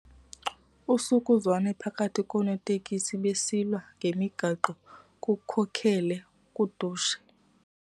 Usukuzwano phakathi koonoteksi besilwa ngemigaqo kukhokelele kudushe.